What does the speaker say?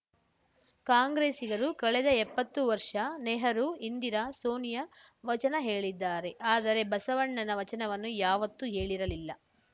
ಕಾಂಗ್ರೆಸ್ಸಿಗರು ಕಳೆದ ಎಪ್ಪತ್ತು ವರ್ಷ ನೆಹರು ಇಂದಿರಾ ಸೋನಿಯಾ ವಚನ ಹೇಳಿದ್ದಾರೆ ಆದರೆ ಬಸವಣ್ಣನ ವಚನವನ್ನು ಯಾವತ್ತೂ ಹೇಳಿರಲಿಲ್ಲ